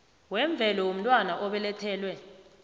wemvelo womntwana obelethelwe